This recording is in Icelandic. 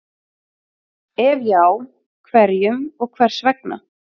Ef já, hverjum og hvers vegna?